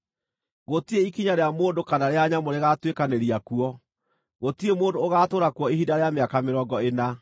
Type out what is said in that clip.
Gũtirĩ ikinya rĩa mũndũ kana rĩa nyamũ rĩgaatuĩkanĩria kuo; gũtirĩ mũndũ ũgaatũũra kuo ihinda rĩa mĩaka mĩrongo ĩna.